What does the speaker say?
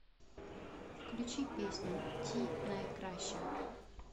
включи песню ти найкраща